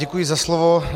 Děkuji za slovo.